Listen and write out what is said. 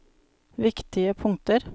viktige punkter